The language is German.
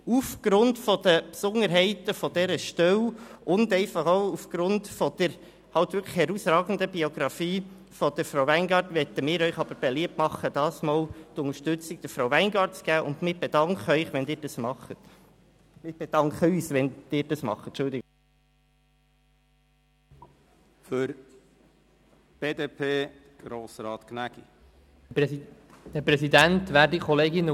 Aufgrund der Besonderheiten dieser Stelle und aufgrund der herausragenden Biografie von Frau Weingart-Schneider möchten wir Ihnen aber beliebt machen, dieses Mal Frau Weingart-Schneider zu unterstützen und bedanken uns bei Ihnen, wenn Sie dies tun.